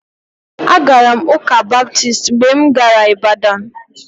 Agara m ụ́kà Baptist mgbe m gara Ịbadan